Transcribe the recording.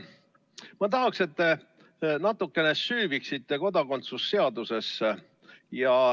Ma tahaksin, et te natuke süüviksite kodakondsuse seadusesse.